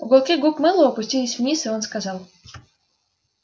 уголки губ мэллоу опустились вниз и он сказал